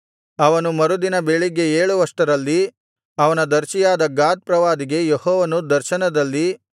ಅವನು ಮರುದಿನ ಬೆಳಿಗ್ಗೆ ಏಳುವಷ್ಟರಲ್ಲಿ ಅವನ ದರ್ಶಿಯಾದ ಗಾದ್ ಪ್ರವಾದಿಗೆ ಯೆಹೋವನು ದರ್ಶನದಲ್ಲಿ